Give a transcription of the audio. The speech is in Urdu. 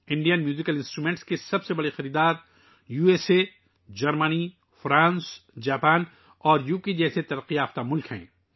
بھارتی موسیقی کے آلات کے سب سے بڑے خریدار امریکہ، جرمنی، فرانس، جاپان اور برطانیہ جیسے ترقی یافتہ ممالک ہیں